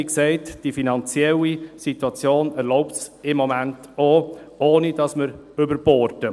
Wie gesagt erlaubt die finanzielle Situation dies im Moment auch, ohne dass wir überborden.